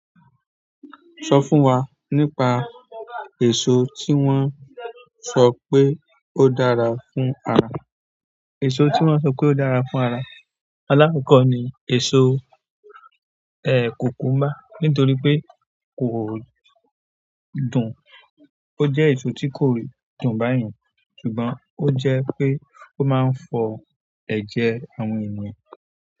Sọ fún wa nípa èso tí wọ́n sọ pé ó dára fún ara. Èso tí wọ́n sọ pé ó dára fún ara, alákọkọ ni èso, cucumber. Nítorí pé kò dùn. Ó jẹ́ èso tí kò dùn báyen, ṣùgbọ́n ó jẹ́ pé ó máa ń fọ ẹ̀jẹ̀ àwọn ènìyàn.